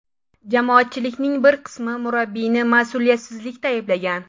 Jamoatchilikning bir qismi murabbiyni mas’uliyatsizlikda ayblagan.